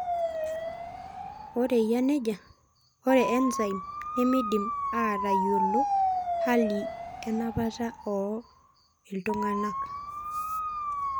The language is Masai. Ore eyia nejia, ore Enzyme nemeidimi aatayiolo hali enapata ooo iltung'anak?